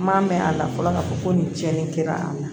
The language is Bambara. N m'a mɛn a la fɔlɔ ka fɔ ko nin cɛnni kɛra a la